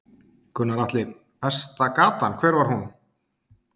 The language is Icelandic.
Gunnar Atli: Besta gatan, hver var hún?